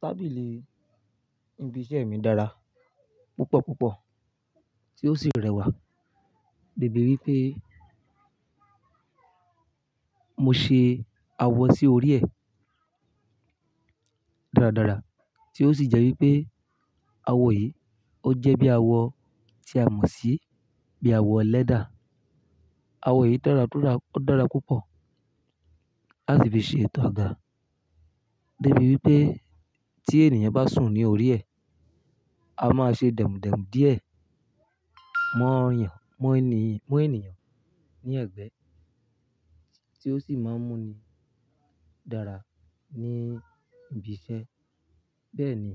Tábìlì ibi iṣẹ́ mi dára púpọ̀ púpọ̀ tí ó sì rẹwà. Débi wípé mo ṣe awọ sí orí ẹ̀ dáradára, tí ó sì jẹ́ wípé awọ yìí ó jẹ́ bí awọ tí a mọ̀ sí bí awọ leather. Awọ yìí dára kó dá, ó dára púpọ̀ láti fi ṣe ètò àga. Débi wípé tí ènìyàn bá sùn ní orí ẹ̀, a máa ṣe demú demú díẹ̀ mọ́ yàn, mọ́ ènìyàn ní ẹ̀gbẹ́ tí ó sì máa ń mú ni dára ní ibi iṣẹ́. Bẹ́ẹ̀ ni,